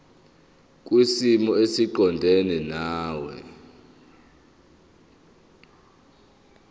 kwisimo esiqondena nawe